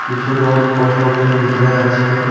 কিছু লোক পোস্টঅফিসের ভিতরে যাচ্ছে।